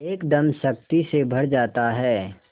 एकदम शक्ति से भर जाता है